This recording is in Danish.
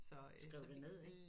Skriver det ned